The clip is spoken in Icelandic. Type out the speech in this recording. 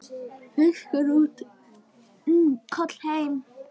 Fiskur út, kol heim.